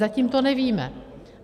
Zatím to nevíme.